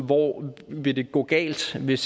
hvor det vil gå galt hvis